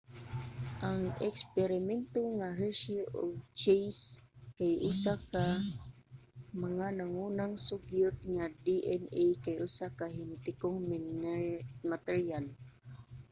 ang eksperimento nga hershey ug chase kay usa ka mga nangunang sugyot nga ang dna kay usa ka henetikong materyal